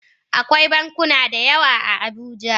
Akwai bankuna da yawa a Abuja